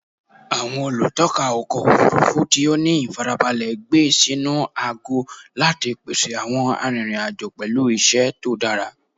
Awọn olutọpa ọkọ ofurufu ti o ni ifarabalẹ gbe sinu agọ lati pese awọn arinrin-ajo pẹlu iṣẹ to dara